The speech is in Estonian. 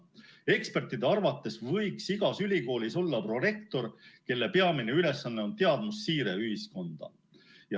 Ekspertide arvates võiks igas ülikoolis olla prorektor, kelle peamine ülesanne on teadmussiire ühiskonda.